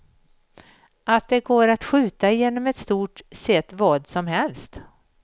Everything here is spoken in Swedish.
Att det går att skjuta genom i stort sett vad som helst.